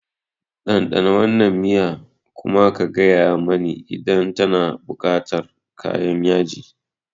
Ɗanɗana wannan miya kuma ka gaya mani idan tana buƙatar kayan yaji.